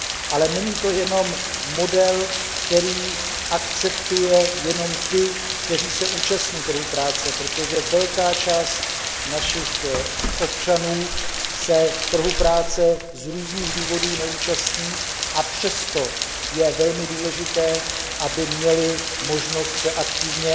Ale není to model, který akceptuje jenom ty, kteří se účastní trhu práce, protože velká část našich občanů se trhu práce z různých důvodů neúčastní, a přesto je velmi důležité, aby měli možnost se aktivně